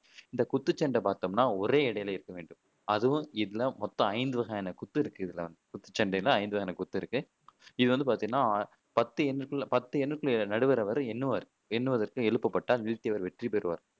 இந்த குத்துச்சண்டை பாத்தோம்னா ஒரே எடையில இருக்க வேண்டும் அதுவும் இதுல மொத்தம் ஐந்து வகையான குத்து இருக்கு இதுல குத்துச்சண்டையில ஐந்து வகையான குத்து இருக்கு இது வந்து பாத்தீங்கன்னா பத்து எண்ணுக்குள்ள பத்து எண்ணுக்குள்ள நடுவர் அவரு எண்ணுவாரு எண்ணுவதற்கு எழுப்பப்பட்டா வெற்றி பெருவார்